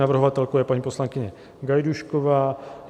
Navrhovatelkou je paní poslankyně Gajdůšková.